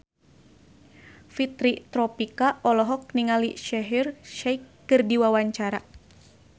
Fitri Tropika olohok ningali Shaheer Sheikh keur diwawancara